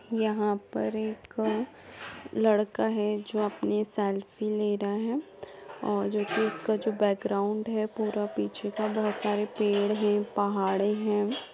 यहाँ पर एक लड़का है जो अपनी सेल्फी ले रहा है और जो कि उसका जो बैकग्राउंड है पूरा पीछे का बोहोत सारे पेड़ हैं पहाडें हैं।